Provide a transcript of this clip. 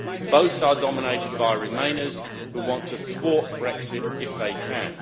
Both are dominated by Remainers, who want to thwart Brexit if they can.